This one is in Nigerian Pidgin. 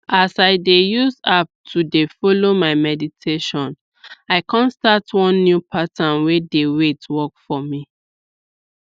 our clinic dey give free informate out on way wey dem take dey do family planning omo e dey help well well.